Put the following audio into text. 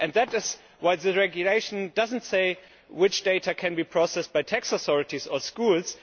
That is why the regulation does not say which data can be processed by tax authorities or schools.